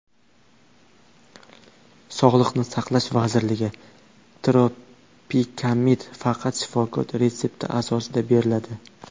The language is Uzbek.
Sog‘liqni saqlash vazirligi: Tropikamid faqat shifokor retsepti asosida beriladi.